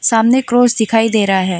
सामने क्रॉस दिखाई दे रहा है।